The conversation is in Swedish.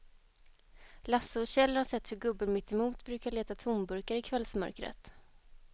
Lasse och Kjell har sett hur gubben mittemot brukar leta tomburkar i kvällsmörkret.